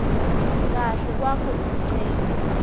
kahle kwakho lesicelo